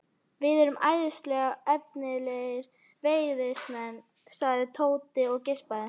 Við erum æðislega efnilegir veiðimenn sagði Tóti og geispaði.